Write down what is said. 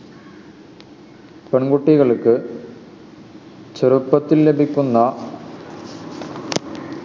പെൺകുട്ടികൾക്ക് ചെറുപ്പത്തിൽ ലഭിക്കുന്ന